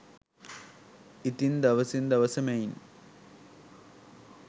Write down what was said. ඉතින් දවසින් දවස මෙයින්